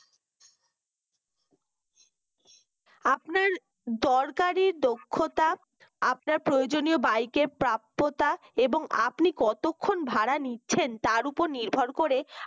আপনার দরকারি দক্ষতা আপনার প্রয়োজনীয় bike প্রাপ্যতা এবং আপনি কতক্ষণ ভাড়া নিচ্ছেন তার ওপর নির্ভর করে